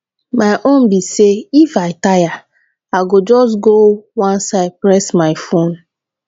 my own be if i tire i go just go one side press my phone